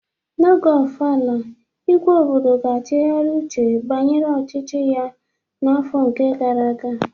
Oge ofala, igwe obodo ga-achighari uche banyere ọchịchị ya n'afọ nke gara aga